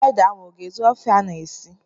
Ede ahụ a ga-ezu ofe ị na-esi?